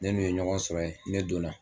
Ne n'i ye ɲɔgɔn sɔrɔ yen ne donna